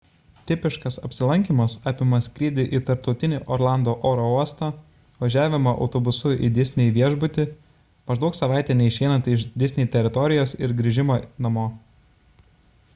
tipiškas apsilankymas apima skrydį į tarptautinį orlando oro uostą važiavimą autobusu į disney viešbutį maždaug savaitę neišeinant iš disney teritorijos ir grįžimą namo